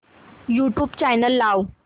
YouTube channel लाव